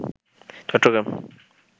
Chittagong